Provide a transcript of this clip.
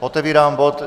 Otevírám bod